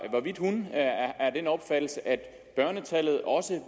hvorvidt hun er af den opfattelse at børnetallet også